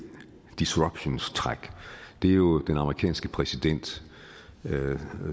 disruption træk er jo den amerikanske præsident